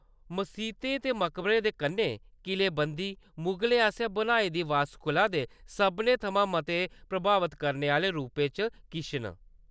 मसीतें ते मकबरें दे कन्नै किलेबंदी, मुगलें आसेआ बनाई दी वास्तुकला दे सभनें थमां मते प्रभावत करने आह्‌लें रूपें चा किश न।